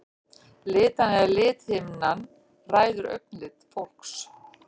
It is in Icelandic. Litan eða lithimnan ræður augnlit fólks.